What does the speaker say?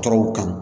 Tɔɔrɔw kan